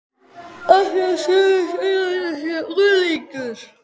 Af því að sumir segja að þetta sé unglingur.